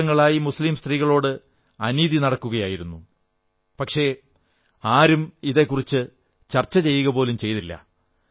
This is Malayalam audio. ദശകങ്ങളായി മുസ്ലീം സ്ത്രീകളോട് അനീതി നടക്കുകയായിരുന്നു പക്ഷേ ആരും ഇതെക്കുറിച്ച് ചർച്ച പോലും ചെയ്തില്ല